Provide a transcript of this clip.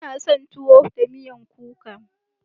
Ina son tuwo da miyan kuka.